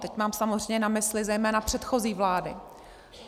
Teď mám samozřejmě na mysli zejména předchozí vlády.